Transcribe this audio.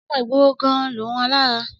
Ọmọ ìgboro gan-an lòun alára.